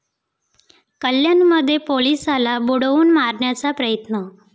कल्याणमध्ये पोलिसाला बुडवून मारण्याचा प्रयत्न